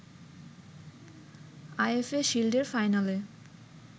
IFA শিল্ডের ফাইনালে